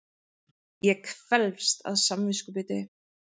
Ég kvelst af samviskubiti.